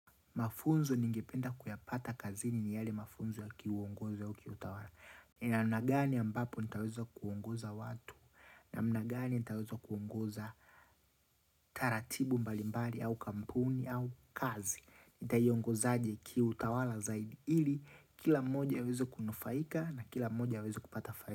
Mafunzo ningependa kuyapata kazini ni yale mafunzo ya kiuongozo au kiutawala. Namna gani ambapo nitaweza kuongoza watu. Namna gani nitaweza kuongoza taratibu mbalimbali au kampuni au kazi. Nitaiongozaje kiutawala zaidi ili. Kila moja aweze kunufaika na kila moja aweze kupata faida.